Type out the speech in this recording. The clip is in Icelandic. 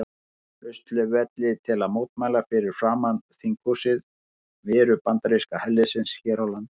Austurvelli til að mótmæla fyrir framan þinghúsið veru bandaríska herliðsins hér á landi.